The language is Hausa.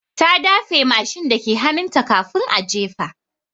Ta dafe mashin dake hannunta kafin a jefa.